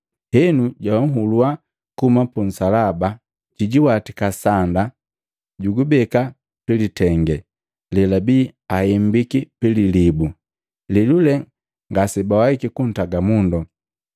Henu jahulua kuhuma pu nsalaba, jijiwatika sanda, jugubeka pilitenge lelabii ahembiki pi lilibu, lelule ngasebawaiki kuntaga mundu.